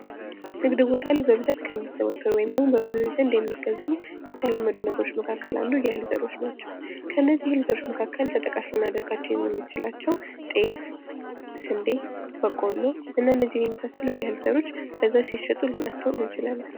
ንግድ ቦታ ላይ በብዛት ከሚዘወተሩ ወይም ደግሞ በብዙ ጊዜ እንደሚገዙ የተለመዱ ነገሮች መካከል አንዱ የእህል ዘሮች ናቸው ። ከእነዚህ የእህል ዘሮች መካከል ተጠቃሽ ልናደርጋቸው የምንችላቸው ጤፍ ስንዴ በቆሎ እና እነዚህን የመሳሰሉት የእህል ዘሮች በብዛት ሲሸጡ ልናስተውል እንችላለን ።